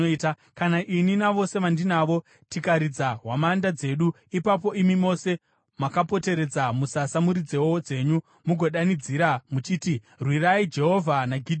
Kana ini navose vandinavo tikaridza hwamanda dzedu, ipapo imi mose makapoteredza musasa muridzewo dzenyu mugodanidzira muchiti, ‘Rwirai Jehovha naGidheoni!’ ”